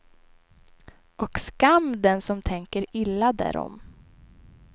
Och skam den som tänker illa därom.